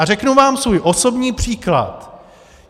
A řeknu vám svůj osobní příklad.